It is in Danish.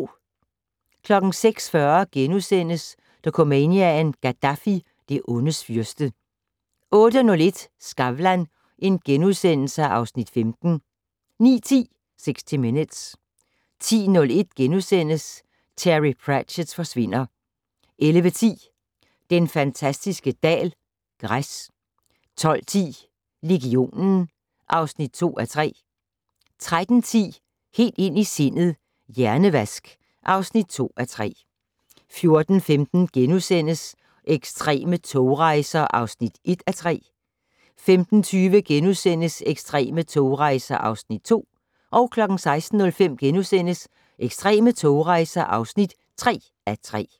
06:40: Dokumania: Gaddafi - det ondes fyrste * 08:01: Skavlan (Afs. 15)* 09:10: 60 Minutes 10:01: Terry Pratchett forsvinder * 11:10: Den fantastiske dal - græs 12:10: Legionen (2:3) 13:10: Helt ind i sindet: Hjernevask (2:3) 14:15: Ekstreme togrejser (1:3)* 15:20: Ekstreme togrejser (2:3)* 16:05: Ekstreme togrejser (3:3)*